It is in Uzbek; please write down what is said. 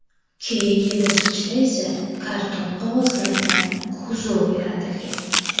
Keyingi bosqichda esa karton qog‘ozlaridan kuzov yaratilgan.